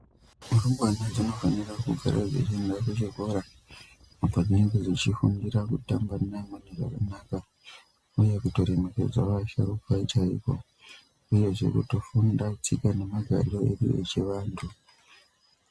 Rumbwana dzinofanira kugara dzechienda kuchikora apo dzechifundira kutamba neamweni zvakanaka , uye kutongokudza vasharuka chaizvo, uyezve kuto funda tsika nemagariro edu echivanhu.